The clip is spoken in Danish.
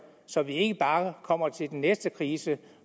så vi ikke bare kommer til den næste krise